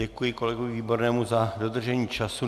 Děkuji kolegovi Výbornému za dodržení času.